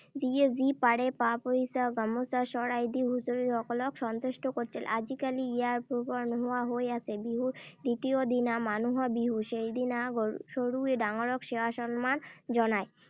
যিয়ে যি পাৰে পা-পইচা, গামোচা, শৰাই দি হুঁচৰিসকলক সন্তুষ্ট কৰিছিল। আজিকালি ইয়াৰ পয়োভৰ নোহোৱা হৈ আছে। বিহুৰ দ্বিতীয় দিনা মানুহ বিহু। সেইদিনা সৰুৱে ডাঙৰক সেৱা-সন্মান জনায়।